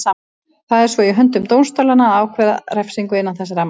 Það er svo í höndum dómstólanna að ákvarða refsingu innan þess ramma.